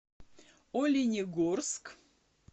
оленегорск